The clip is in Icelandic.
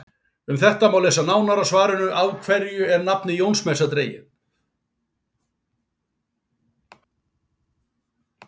Um þetta má lesa nánar í svarinu Af hverju er nafnið Jónsmessa dregið?